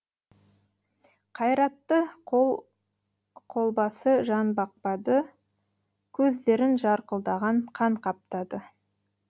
қайратты қол қолбасы жан бақпады көздерін жарқылдаған қан қаптады